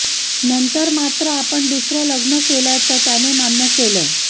नंतर मात्र आपण दुसरं लग्न केल्याचं त्याने मान्य केलं